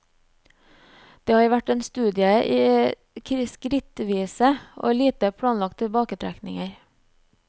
Det har vært en studie i skrittvise og lite planlagte tilbaketrekninger.